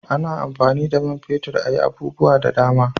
A na amfani da man fetir a yi abubuwa da dama